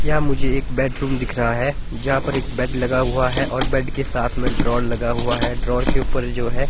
यह मुझे एक बेडरूम दिख रहा है जहां पर एक बेड लगा हुआ है और बेड के साथ में ड्रॉवर लगा हुआ है ड्रॉवर के ऊपर जो है --